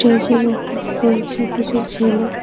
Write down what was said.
মেঝের ওপরে রয়েছে কিছু ছেলে।